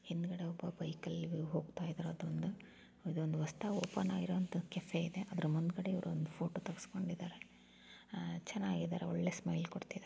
ಹಿಂದಗಡೆ ಒಬ್ಬ ಬೈಕಿನಲ್ಲಿ ಹೋಗ್ತಾ ಇದಾರೆ ಅದ್ ಒಂದು ಹೊಸದಾಗಿ ಓಪನ್ ಆಗಿರುವ ಕೆಫೆ ಇದೆ ಅದರ ಮುಂದೆ ಇವರ ಒಂದ್ ಫೋಟೋ ತೆಗಿಸ್ಕೊಂಡಿದಾರೆ ಚೆನಾಗಿದೆ ಒಂದ್ ಒಳ್ಳೆ ಸ್ಮೈಲ್ ಕೊಡ್ತಿದಾರೆ .